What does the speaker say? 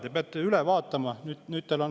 Te peate üle vaatama.